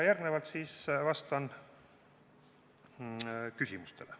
Järgnevalt vastan küsimustele.